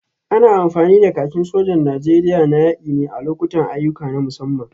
Ana amfani da kakin sojan Najeriya na yaki ne a lokutan ayyuka na musamman.